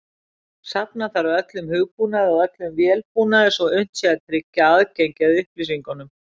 Safna þarf öllum hugbúnaði og öllum vélbúnaði svo unnt sé að tryggja aðgengi að upplýsingunum.